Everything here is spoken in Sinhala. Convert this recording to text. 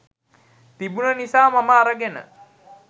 තිබුන නිසා මම අරගෙන